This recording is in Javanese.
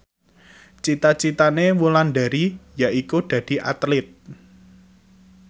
cita citane Wulandari yaiku dadi Atlit